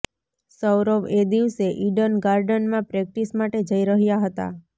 સૌરવ એ દિવસે ઇડન ગાર્ડનમાં પ્રેક્ટિસ માટે જઇ રહ્યા હતા